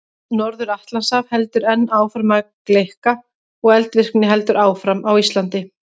Norður-Atlantshaf heldur enn áfram að gleikka og eldvirkni heldur áfram á Íslandi.